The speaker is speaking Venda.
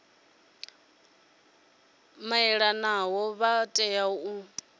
vha malanaho vha tea u